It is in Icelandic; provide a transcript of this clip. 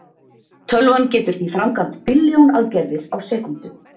tölvan getur því framkvæmt billjón aðgerðir á sekúndu